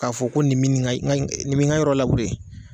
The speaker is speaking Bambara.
K'a fɔ ko nin bɛ nin ka nin bɛ in ka yɔrɔ